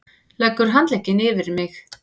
Leggur handlegginn yfir mig.